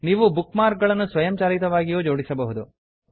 ನೀವು bookmark ಗಳನ್ನು ಸ್ವಯಂಚಾಲಿತವಾಗಿಯೂ ಜೋಡಿಸಬಹುದು